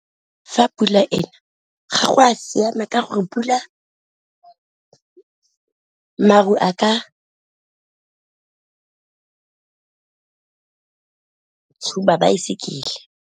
Fa pula ena ga go a siama ka gore pula, maru a ka tshuba baesekele.